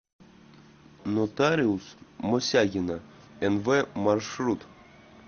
нотариус мосягина нв маршрут